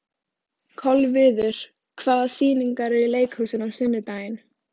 Kolviður, hvaða sýningar eru í leikhúsinu á laugardaginn?